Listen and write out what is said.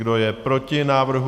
Kdo je proti návrhu?